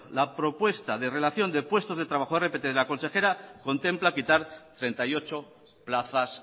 la propuesta de relación de puesto de trabajo rpt de la consejera contempla quitar treinta y ocho plazas